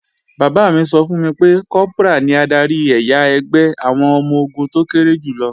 Bàbá mi sọ fún mi pé, Kọ́prà ní adarí ẹ̀yà ẹgbẹ́ àwọn ọmọ-ogun tó kéré jù lọ